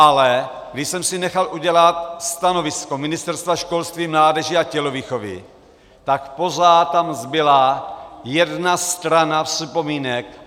Ale když jsem si nechal udělat stanovisko Ministerstva školství, mládeže a tělovýchovy, tak pořád tam zbyla jedna strana připomínek.